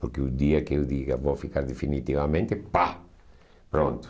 Porque o dia que eu diga vou ficar definitivamente, pá, pronto.